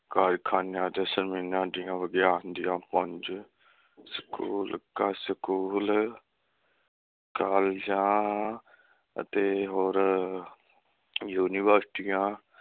ਕਾਰਖਾਨਿਆਂ ਦੀਆ ਵਿਗਿਆਨ ਦੀਆ ਪੰਜ ਸਕੂਲ, ਕਾਲਜਾਂ ਅਤੇ ਹੋਰ ਯੂਨੀਵਰਸਿਟੀਆਂ